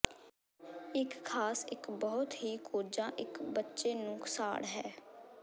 ਇਕ ਖ਼ਾਸ ਇੱਕ ਬਹੁਤ ਹੀ ਕੋਝਾ ਇੱਕ ਬੱਚੇ ਨੂੰ ਸਾੜ ਹੈ